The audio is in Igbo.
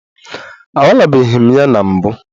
Anwalebeghị m ya na mbụ.